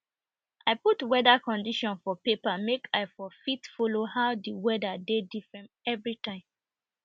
i put weader condition for paper make i for fit follow how de weader de different every time